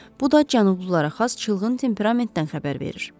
Bu da cənublulara xas çılğın temperamentdən xəbər verir.